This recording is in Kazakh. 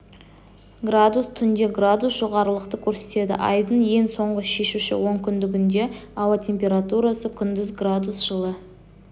градус түнде градус жоғарылықты көрсетеді айдың ең соңғы шешуші онкүндігінде ауа температурасы күндіз градус жылы